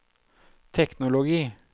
teknologi